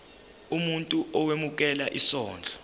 umuntu owemukela isondlo